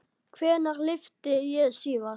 Hvenær lyfti ég síðast?